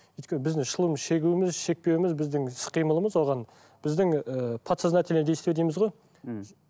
өйткені біздің шылым шегуіміз шекпеуіміз біздің іс қимылымыз оған біздің ііі подсознательные действия дейміз гой ііі